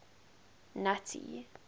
nuttie